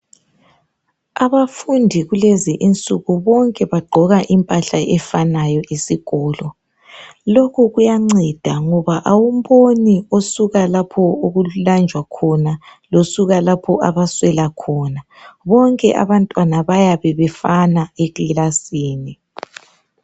Abafundi kulezi insuku, bonke bagqoka impahla efanayo esikolo..Lokhu kuyanceda ngoba kawumboni osuka lapha okulanjwa khona, losuka lapha abaswela khona, ngoba bonke abantwana, bayabe befana ekilasini.